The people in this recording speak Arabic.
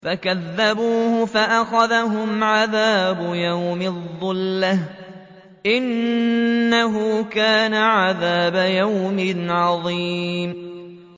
فَكَذَّبُوهُ فَأَخَذَهُمْ عَذَابُ يَوْمِ الظُّلَّةِ ۚ إِنَّهُ كَانَ عَذَابَ يَوْمٍ عَظِيمٍ